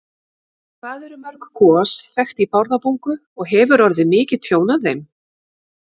Hvað eru mörg gos þekkt í Bárðarbungu og hefur orðið mikið tjón af þeim?